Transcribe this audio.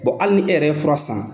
Bon hali ni e yɛrɛ ye fura san